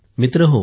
मित्रहो